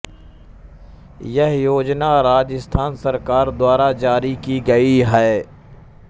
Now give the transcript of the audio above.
यह योजना राजस्थान सरकार द्वारा जारी की गई है